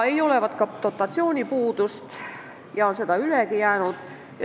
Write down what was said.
Polevat ka dotatsiooni puudust, seda on ülegi jäänud.